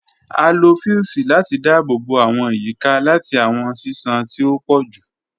A lo fiusi lati daabobo awọn iyika lati awọn ṣiṣan ti o pọ ju